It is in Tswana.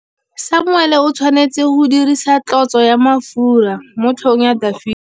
Samuele o tshwanetse go dirisa tlotsô ya mafura motlhôgong ya Dafita.